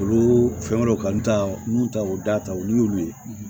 Olu fɛn wɛrɛw kanu t'a la n'u ta o da ta olu y'olu ye